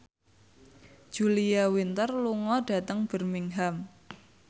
Julia Winter lunga dhateng Birmingham